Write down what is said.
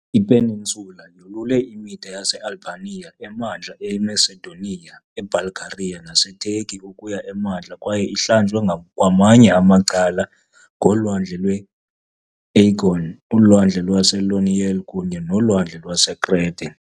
Ipeninsula yolule imida yaseAlbania, eMantla eMacedonia, eBulgaria naseTurkey ukuya emantla kwaye ihlanjwe kwamanye amacala ngoLwandle lwe-Aegean, uLwandle lwase-Ionian kunye noLwandle lwaseKrete .